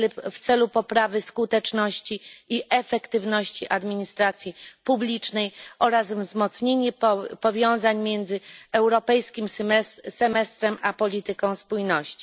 w celu poprawy skuteczności i efektywności administracji publicznej oraz wzmocnienie powiązań między europejskim semestrem a polityką spójności.